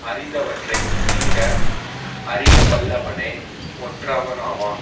அறிந்தவற்றை தீர அறியவல்லவனே ஒற்றவனாவான்